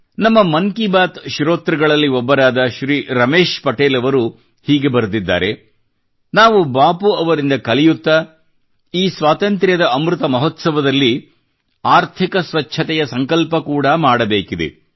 ಬಹುಶಃ ಅದರಿಂದಾಗಿಯೇ ನಮ್ಮ ಮನ್ ಕಿ ಬಾತ್ ಶ್ರೋತೃಗಳಲ್ಲಿ ಒಬ್ಬರಾದ ಶ್ರೀ ರಮೇಶ್ ಪಟೇಲ್ ಅವರು ಹೀಗೆ ಬರೆದಿದ್ದಾರೆ ನಾವು ಬಾಪೂ ಅವರಿಂದ ಕಲಿಯುತ್ತಾ ಈ ಸ್ವಾತಂತ್ರ್ಯದ ಅಮೃತ ಮಹೋತ್ಸವದಲ್ಲಿ ಆರ್ಥಿಕ ಸ್ವಚ್ಛತೆಯ ಸಂಕಲ್ಪ ಕೂಡಾ ಮಾಡಬೇಕಿದೆ